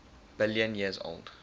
billion years old